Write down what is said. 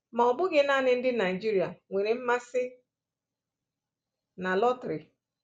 Ma ọ bụghị nanị ndị Naịjirịa nwere mmasị na lọtrị.